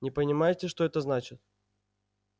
не понимаете что это значит